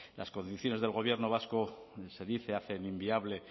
las condiciones del gobierno vasco se dice hacen inviable